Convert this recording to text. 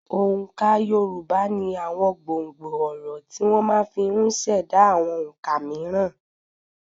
Òǹkà Yorùbá ní àwọn gbòǹgbò ọ̀rọ̀ tí wọ́n máa fi ùn ṣẹ̀dá àwọn òǹkà mííràn.